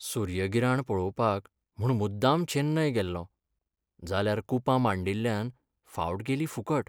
सूर्यगिराण पळोवपाक म्हूण मुद्दाम चेन्नय गेल्लों, जाल्यार कुपां मांडिल्ल्यान फावट गेली फुकट!